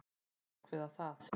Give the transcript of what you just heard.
Að ákveða það.